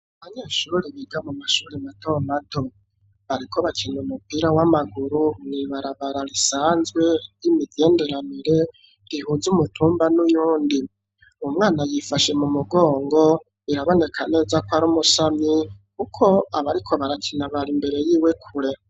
Abanyeshuri biga mu mashuri matomato ,bariko bakina umupira w'amaguru ,mwibarabara risanzwe y'imigenderanire rihuze umutumba n'uyundi, umwana yifashe mu mugongo biraboneka neza ko ari umusamyi ,kuko abo bariko barakina bari imbere y'iwe kure.